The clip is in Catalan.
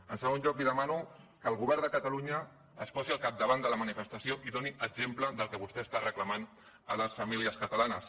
en segon lloc li demano que el govern de catalunya es posi al capdavant de la manifestació i doni exemple del que vostè està reclamant a les famílies catalanes